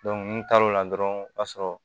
n taar'o la dɔrɔn o b'a sɔrɔ